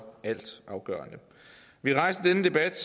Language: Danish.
altafgørende vi har rejst denne debat